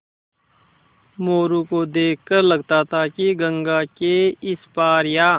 मोरू को देख कर लगता था कि गंगा के इस पार या